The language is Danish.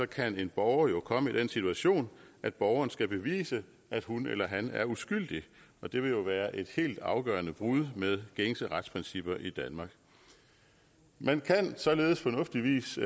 kan en borger jo komme i den situation at borgeren skal bevise at hun eller han er uskyldig og det ville være et helt afgørende brud med gængse retsprincipper i danmark man kan således fornuftigvis